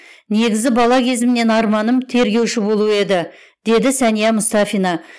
негізі бала кезімнен арманым тергеуші болу еді деді сәния мұстафина